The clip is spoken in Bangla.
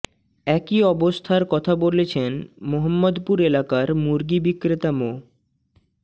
একই অবস্থার কথা বলেছেন মোহাম্মদপুর এলাকার মুরগি বিক্রেতা মো